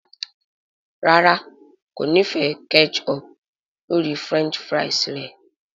ràrá kò ní fè ketchup lórí french fries re.